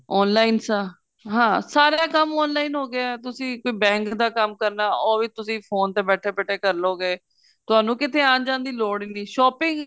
online ਸਾ ਹਾਂ ਸਾਰਾ ਕੰਮ online ਹੋ ਗਿਆ ਤੁਸੀਂ ਕੋਈ bank ਦਾ ਕੰਮ ਕਰਨਾ ਉਹ ਵੀ phone ਤੇ ਬੈਠੇ ਬੈਠੇ ਕਰ ਲੋ ਗੇ ਤੁਹਾਨੂੰ ਕਿੱਥੇ ਆਣ ਜਾਣ ਦੀ ਲੋੜ ਹੀ ਨੀਂ shopping